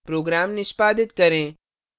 program निष्पादित करें